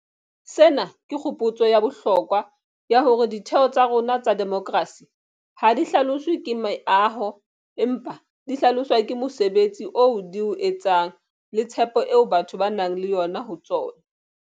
Sena ke kgopotso ya bohlokwa ya hore ditheo tsa rona tsa demokerasi ha di hlaloswe ke meaho, empa di hlaloswa ke mosebetsi oo di o etsang le tshepo eo batho ba nang le yona ho tsona.